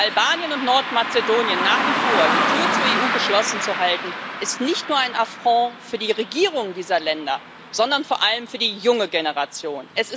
Vor Albanien und Nordmazedonien nach wie vor die Tür zur EU geschlossen zu halten, ist nicht nur ein Affront für die Regierungen dieser Länder, sondern vor allem für die junge Generation.